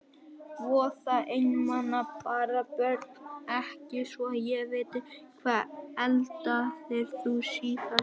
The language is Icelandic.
Voða einmana bara Börn: Ekki svo ég viti Hvað eldaðir þú síðast?